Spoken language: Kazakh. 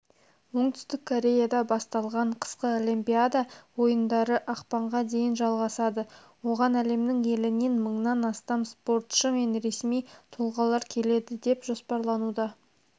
оңтүстік кореяда басталған қысқы олимпиада ойындары ақпанға дейін жалғасады оған әлемнің елінен мыңнан астам спортшы мен ресми тұлғалар келеді деп жоспарлануда